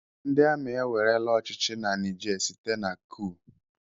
Ndị Amị ewerela ọchịchị na Niger site na kuu